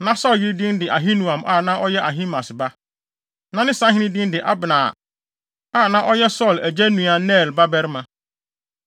Na Saulo yere din de Ahinoam a na ɔyɛ Ahimaas ba. Na ne sahene din de Abner a na ɔyɛ Saulo agya nua Ner babarima.